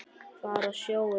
Fara á sjóinn bara.